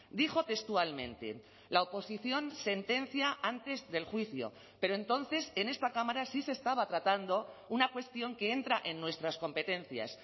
dijo textualmente la oposición sentencia antes del juicio pero entonces en esta cámara sí se estaba tratando una cuestión que entra en nuestras competencias